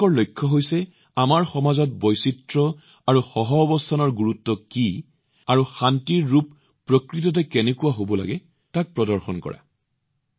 তেওঁলোকৰ লক্ষ্য হৈছে আমাৰ সমাজত বৈচিত্ৰ্য আৰু সহাৱস্থানৰ গুৰুত্ব কি আৰু শান্তিৰ প্ৰকাৰ প্ৰকৃততে কেনেকুৱা হব লাগে তাক উলিয়াই অনা